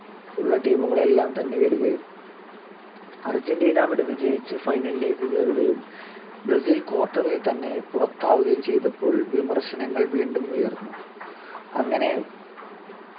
ഉള്ള team കളെല്ലാം തന്നെ വരുകയും അർജന്റീന അവിടെ വിജയിച്ച് final ലേക്ക് കയറുകയും ബ്രസീൽ quarter ൽ തന്നെ പുറത്താവുകയും ചെയ്‌തപ്പോൾ വിമർശനങ്ങൾ വീണ്ടും ഉയർന്നു അങ്ങനെ